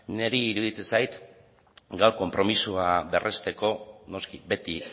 niri iruditzen zait gaur konpromisoa berresteko noski beti